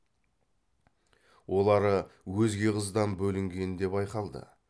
олары өзге қыздан бөлінгенде байқалды